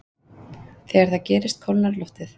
þegar það gerist kólnar loftið